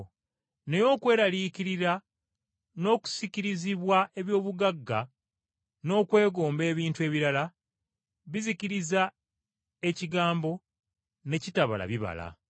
naye okweraliikirira n’okusikirizibwa eby’obugagga n’okwegomba ebintu ebirala, bizikiriza ekigambo ne kitabala bibala.